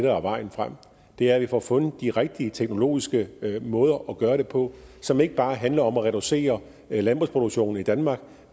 er vejen frem er at vi får fundet de rigtige teknologiske måder at gøre det på som ikke bare handler om at reducere landbrugsproduktionen i danmark